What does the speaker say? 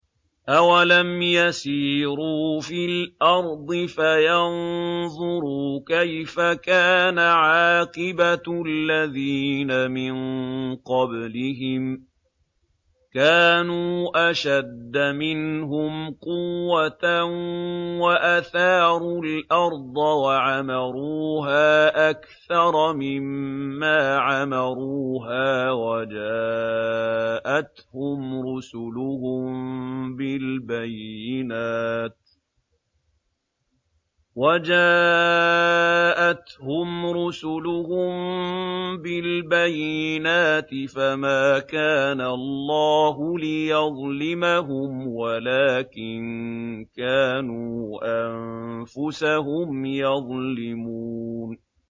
أَوَلَمْ يَسِيرُوا فِي الْأَرْضِ فَيَنظُرُوا كَيْفَ كَانَ عَاقِبَةُ الَّذِينَ مِن قَبْلِهِمْ ۚ كَانُوا أَشَدَّ مِنْهُمْ قُوَّةً وَأَثَارُوا الْأَرْضَ وَعَمَرُوهَا أَكْثَرَ مِمَّا عَمَرُوهَا وَجَاءَتْهُمْ رُسُلُهُم بِالْبَيِّنَاتِ ۖ فَمَا كَانَ اللَّهُ لِيَظْلِمَهُمْ وَلَٰكِن كَانُوا أَنفُسَهُمْ يَظْلِمُونَ